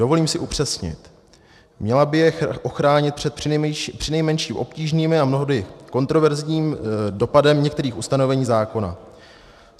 Dovolím si upřesnit: měla by je ochránit před přinejmenším obtížným a mnohdy kontroverzním dopadem některých ustanovení zákona.